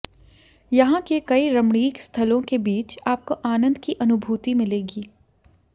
यहां के कई रमणीक स्थलों के बीच आपको आनंद की अनुभूति मिलेगी